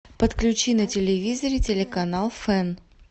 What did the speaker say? подключи на телевизоре телеканал фэн